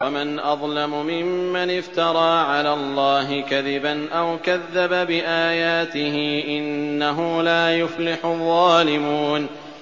وَمَنْ أَظْلَمُ مِمَّنِ افْتَرَىٰ عَلَى اللَّهِ كَذِبًا أَوْ كَذَّبَ بِآيَاتِهِ ۗ إِنَّهُ لَا يُفْلِحُ الظَّالِمُونَ